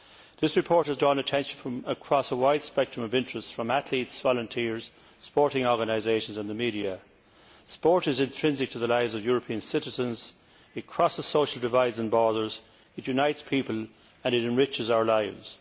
The report has drawn attention from across a wide interest spectrum from athletes, volunteers, sporting organisations and the media. Sport is intrinsic to the lives of European citizens, it crosses social divides and borders, it unites people and it enriches our lives.